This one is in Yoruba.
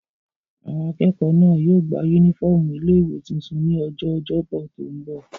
Àwọn akẹ́kọ̀ọ́ náà yóò gba yúnífọ́ọ̀mù ilé-ìwé tuntun ní ọjọ́ ọjọ́bọ̀ tó n bọ̀